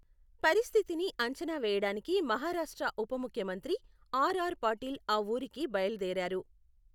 పరిస్థితిని అంచనా వేయడానికి మహారాష్ట్ర ఉప ముఖ్యమంత్రి ఆర్ ఆర్ పాటిల్ ఆ ఊరికి బయలుదేరారు.